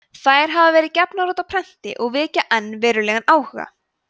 þær hafa verið gefnar út á prenti og vekja enn verulegan áhuga